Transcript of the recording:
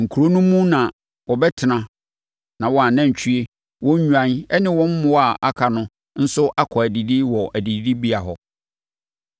Nkuro no mu na wɔbɛtena na wɔn anantwie, wɔn nnwan ne wɔn mmoa a aka no nso akɔ adidi wɔ adidibea hɔ.